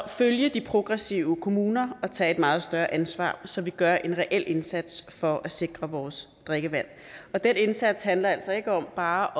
følge de progressive kommuner og tage et meget større ansvar så vi gør en reel indsats for at sikre vores drikkevand den indsats handler altså ikke om bare